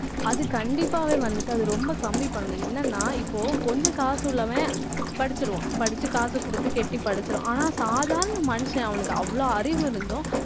அது கண்டிப்பாவே வந்துட்டு, அது ரொம்ப கம்மி பண்ணும் என்னென்னா இப்போ கொஞ்சம் காசு உள்ளவன் படிச்சுடுவான் படிச்சு காசு கொடுத்து கட்டி படுத்திடுவான். ஆனால் சாதாரண மனுஷன் அவனுக்கு அவ்வளவு அறிவு இருந்தும்